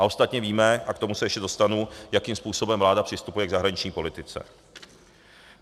A ostatně víme, a k tomu se ještě dostanu, jakým způsobem vláda přistupuje k zahraniční politice.